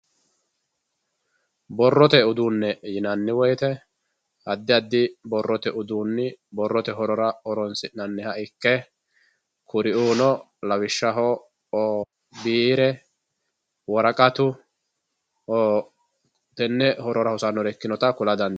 borrote uduunne yinanni woyiite addi addi borrote uduunni borrote horora horoonsi'nanniha ikke kuriuuno lawishshaho biire woraqatu tenne horora hosannota kula dandiinanni.